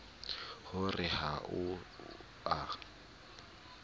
ho re ha o a